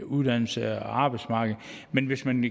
uddannelse eller arbejdsmarkedet men hvis man